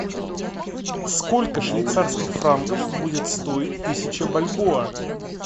сколько швейцарских франков будет стоить тысяча бальбоа